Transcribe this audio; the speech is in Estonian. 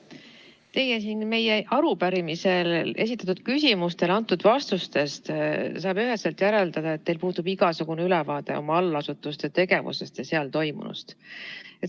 Teie vastustest, mis te siin meie arupärimises esitatud küsimustele andsite, saab üheselt järeldada, et teil puudub igasugune ülevaade oma allasutuste tegevusest ja seal toimunust.